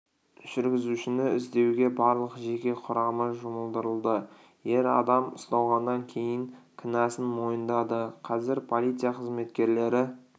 жүргізушіні іздеуге барлық жеке құрамы жұмылдырылды ер адам ұсталғаннан кейін кінәсін мойындады қазір полиция қызметкерлері